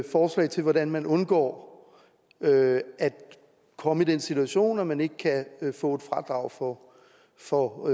forslag til hvordan man undgår at at komme i den situation at man ikke kan få et fradrag for for